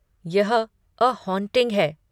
यह 'a haunting' है।